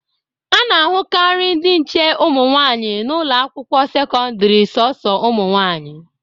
A na-ahụkarị ndị nche ụmụ nwaanyị n'ụlọ akwụkwọ sekọdịrị sọsọ ụmụnwaanyị.